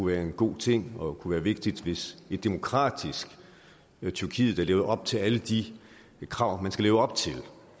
være en god ting og kunne være vigtigt hvis et demokratisk tyrkiet der lever op til alle de krav man skal leve op til